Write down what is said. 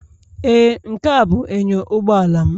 Ee, Nkea bụ inyo ụgbọala m